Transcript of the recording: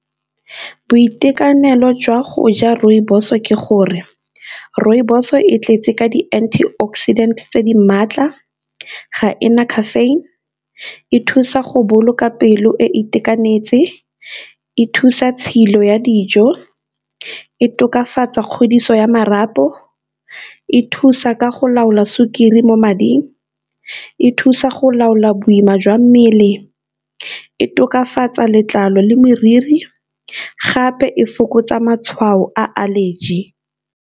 Boitekanelo jwa go ja rooibos o ke gore rooibos e tletse ka di anti oxidant tse di maatla, ga ena caffeine, e thusa go boloka pelo e itekanetse, e thusa tshilo ya dijo, e tokafatsa kgodiso ya marapo, e thusa ka go laola sukiri mo mading, e thusa go laola boima jwa mmele, e tokafatsa letlalo le moriri, gape e fokotsa matshwao a allergy.